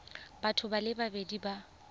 batho ba le babedi ba